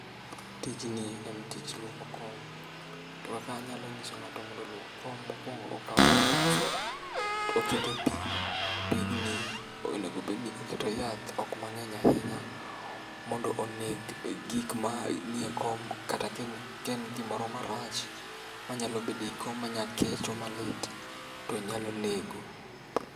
Tijni en tij luoko kom, to kaka anyalo nyiso ng'ato mondo oluok kom mokwongo okawo yath to okete pi. Pigni onegobedni oketo yath, ok mang'eny ahinya mondo oneg gik maniekom kata kaen gimoro marach manyalo bedo ei kom manya kecho malit, to onyalo nego.